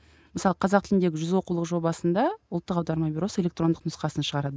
мысалы қазақ тіліндегі жүз оқулық жобасында ұлттық аударма бюросы электрондық нұсқасын шығарады